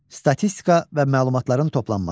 Statistika və məlumatların toplanması.